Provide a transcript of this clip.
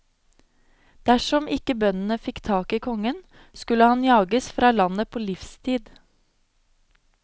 Dersom ikke bøndene fikk tak i kongen, skulle han jages fra landet på livstid.